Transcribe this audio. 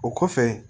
O kɔfɛ